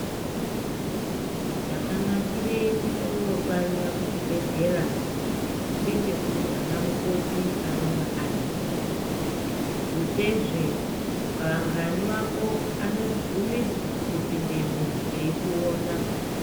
Chakanakire kuno barira kuchibhedhlera ndechekuti ana mukoti anenge aripo thutse zvee anagani ako anobvumidzwa kupindemwo eikuona.